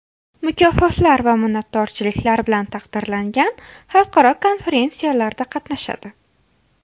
Mukofotlar va minnatdorchiliklar bilan taqdirlangan, xalqaro konferentsiyalarda qatnashadi.